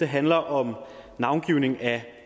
handler om navngivning af